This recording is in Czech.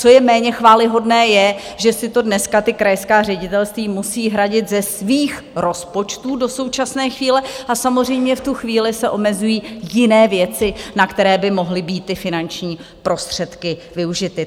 Co je méně chvályhodné, je, že si to dneska ta krajská ředitelství musí hradit ze svých rozpočtů do současné chvíle a samozřejmě v tu chvíli se omezují jiné věci, na které by mohly být ty finanční prostředky využity.